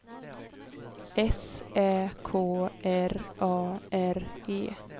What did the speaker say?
S Ä K R A R E